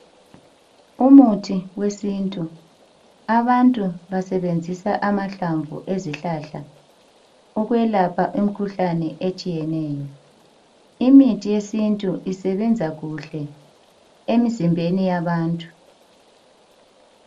Umuthi wesintu abantu basebenzisa amahlamvu ezihalhla ukwelapha imkhuhlane etshiyeneyo imithi yesintu isebenza kuhle emzimbeni yabantu.